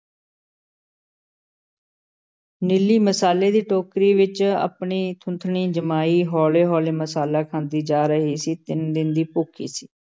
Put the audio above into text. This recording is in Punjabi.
ਨੀਲੀ ਮਸਾਲੇ ਦੀ ਟੋਕਰੀ ਵਿੱਚ ਆਪਣੀ ਥੂਥਣੀ ਜਮਾਈ, ਹੌਲ਼ੇ-ਹੌਲ਼ੇ ਮਸਾਲਾ ਖਾਂਦੀ ਜਾ ਰਹੀ ਸੀ, ਤਿੰਨ ਦਿਨ ਦੀ ਭੁੱਖੀ ਸੀ।